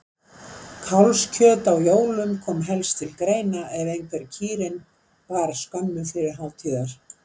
Kálfskjöt á jólum kom helst til greina ef einhver kýrin bar skömmu fyrir hátíðar.